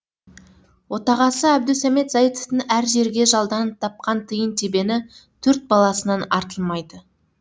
отағасы әбдусәмет заитовтың әр жерге жалданып тапқан тиын тебені төрт баласынан артылмайды